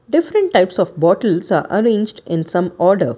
different types of bottles are arranged in some order.